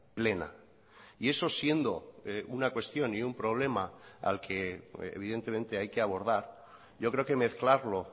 plena y eso siendo una cuestión y un problema al que evidentemente hay que abordar yo creo que mezclarlo